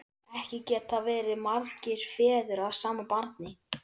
Ekki geta verið margir feður að sama barni!